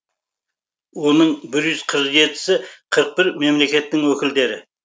оның бір юз қырық жетісі қырық бір мемлекеттің өкілдері